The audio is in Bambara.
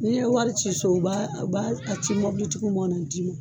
N'i ye wari ci so u b'a u b'a a ci mɔn na d'i ma.